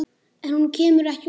En hún kemur ekki út.